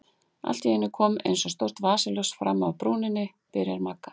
Allt í einu kom eins og stórt vasaljós fram af brúninni, byrjar Magga.